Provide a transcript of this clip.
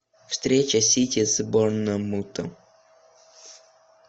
встреча сити с борнмутом